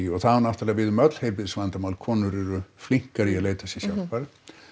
og það á náttúrulega við um öll heilbrigðisvandamál konur eru flinkari í að leita sér hjálpar